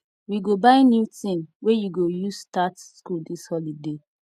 we go buy new tin wey you go use start skool dis holiday